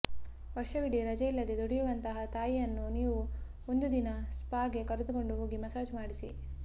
ವರ್ಷವಿಡಿ ರಜೆಯಿಲ್ಲದೆ ದುಡಿಯುವಂತಹ ತಾಯಿಯನ್ನು ನೀವು ಒಂದು ದಿನ ಸ್ಪಾಗೆ ಕರೆದುಕೊಂಡು ಹೋಗಿ ಮಸಾಜ್ ಮಾಡಿಸಿ